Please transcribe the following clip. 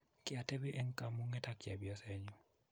kiatebi eng' kamung'et ak chepyosenyu